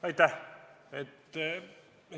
Aitäh!